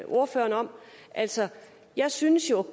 ordføreren om altså jeg synes jo